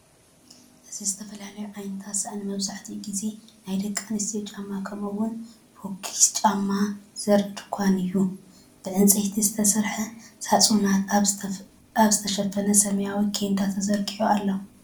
እዚ ዝተፈላለየ ዓይነት ሳእኒ መብዛሕትኡ ግዜ ናይ ደቂ ኣንስትዮ ጫማ ከምኡውን ፈኲስ ጫማ ዘርኢ ድኳን እዩ። ብዕንጨይቲ ዝተሰርሐ ሳፁናት ኣብ ዝተሽፈነ ሰማያዊ ቸንዳ ተዘሪጊሑ ኣሎ።